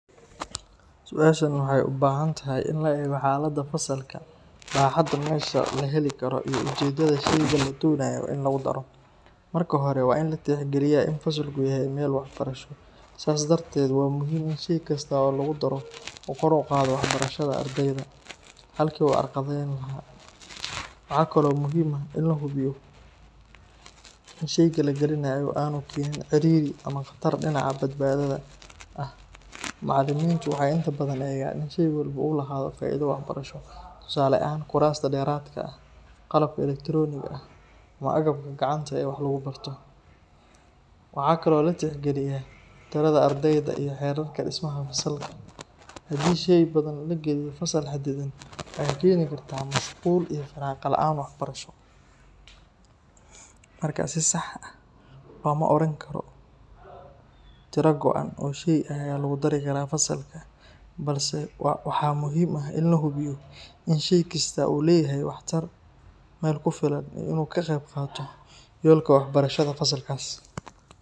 Su’aashan waxay u baahan tahay in la eego xaaladda fasalka, baaxadda meesha la heli karo, iyo ujeedada sheyga la doonayo in lagu daro. Marka hore, waa in la tixgeliyaa in fasalku yahay meel waxbarasho, sidaas darteed waa muhiim in shey kasta oo lagu daro uu kor u qaado waxbarashada ardayda, halkii uu carqaladayn lahaa. Waxa kale oo muhiim ah in la hubiyo in sheyga la gelinayo aanu keenin ciriiri ama khatar dhinaca badbaadada ah. Macalimiintu waxay inta badan eegaan in shey walba uu lahaado faa’iido waxbarasho, tusaale ahaan kuraasta dheeraadka ah, qalabka elektarooniga ah, ama agabka gacanta ee wax lagu barto. Waxa kale oo la tixgeliyaa tirada ardayda iyo xeerarka dhismaha fasalka. Haddii shey badan la geliyo fasal xadidan, waxay keeni kartaa mashquul iyo firaaqo la’aan waxbarasho. Marka si sax ah looma odhan karo tiro go’an oo shey ah ayaa lagu dari karaa fasalka, balse waxa muhiim ah in la hubiyo in shey kasta uu leeyahay waxtar, meel ku filan iyo in uu ka qayb qaato yoolka waxbarashada fasalkaas.